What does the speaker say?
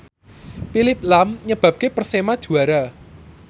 Phillip lahm nyebabke Persema juara